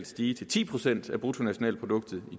stige til ti procent af bruttonationalproduktet i